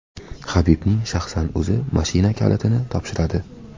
Habibning shaxsan o‘zi mashina kalitini topshiradi.